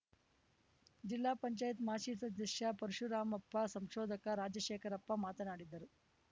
ಜಿಲ್ಲಾ ಪಂಚಾಯತಿ ಮಾಜಿ ಸದಸ್ಯ ಪರಶುರಾಮಪ್ಪ ಸಂಶೋಧಕ ರಾಜಶೇಖರಪ್ಪ ಮಾತನಾಡಿದರು